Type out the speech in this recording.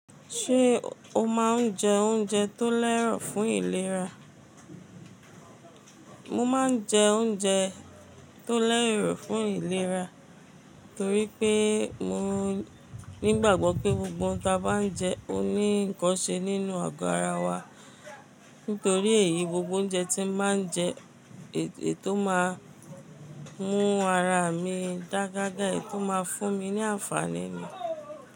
Ṣé o máa ń jẹ oúnjẹ tó lẹ́rọ̀ fún ìlera? Mo máa ń jẹ oúnjẹ tó lẹ́rọ̀ fún ìlera torí pé mo nígbàgbọ́ pé gbogbo ohun tí a bá ń jẹ ó ní ǹkan ṣe nínú agọ́ ara wa. Nítorí èyí, gbogbo oúnjẹ tí mo máa ń jẹ, èyí tó máa ń mú ara mi dága gága, èyí tó máa ń fún mi ní àǹfàní ni.